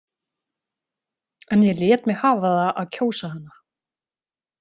En ég lét mig hafa það að kjósa hana.